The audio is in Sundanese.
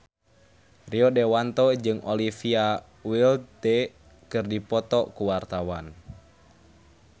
Rio Dewanto jeung Olivia Wilde keur dipoto ku wartawan